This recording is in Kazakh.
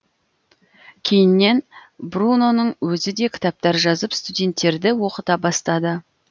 кейіннен бруноның өзі де кітаптар жазып студенттерді оқыта бастады